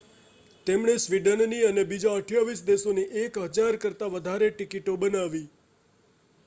તેમણે સ્વીડનની અને બીજા 28 દેશોની 1,000 કરતાં વધારે ટિકિટો બનાવી